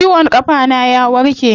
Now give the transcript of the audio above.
Ciwon kafa na ya warke.